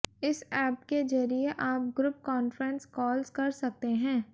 इस ऐप के जरिए आप ग्रुप कॉन्फ्रेंस कॉल्स कर सकते हैं